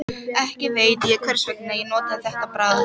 Ekki veit ég hversvegna ég notaði þetta bragð.